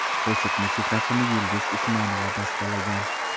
Qo‘shiq musiqasini Yulduz Usmonova bastalagan.